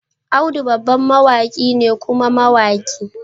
Audu babban mawaki ne kuma mawaki